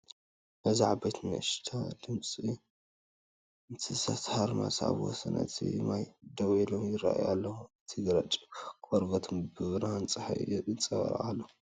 እዚ ዓበይትን ንእሽቶን ጽምዲ እንስሳታት ሃርማዝ ኣብ ወሰን እቲ ማይ ደው ኢሎም ይራኣይ ኣለው። እቲ ግራጭ ቆርበቶም ብብርሃን ጸሓይ ይንጸባረቕ ኣሎ።